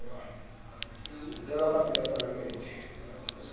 ho bewa ka pela palamente